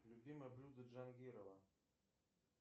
любимое блюдо джангирова